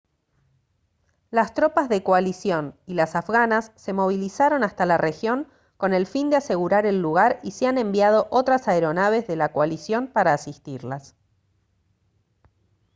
las tropas de coalición y las afganas se movilizaron hasta la región con el fin de asegurar el lugar y se han enviado otras aeronaves de la coalición para asistirlas